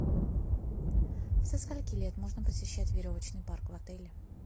со скольки лет можно посещать веревочный парк в отеле